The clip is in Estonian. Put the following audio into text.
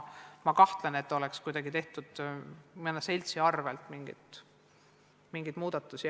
Ma kahtlen selles ega usu, et kuidagi mõne seltsi arvel oleks tehtud mingeid muudatusi.